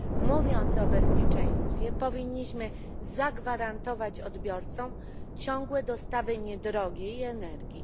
Mówiąc o bezpieczeństwie, powinniśmy zagwarantować odbiorcom ciągłe dostawy niedrogiej energii.